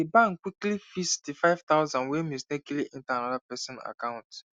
the bank quickly fix the five thousand wey mistakenly enter another person account